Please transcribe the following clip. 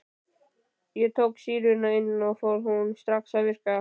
Ég tók sýruna inn og hún fór strax að virka.